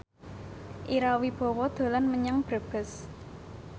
Ira Wibowo dolan menyang Brebes